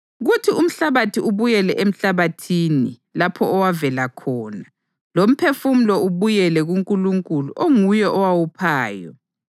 kuthi umhlabathi ubuyele emhlabathini lapho owavela khona, lomphefumulo ubuyele kuNkulunkulu onguye owawuphayo.